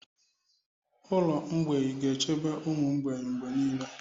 Ụlọ mgbei ga-echebe ụmụ mgbei mgbe niile.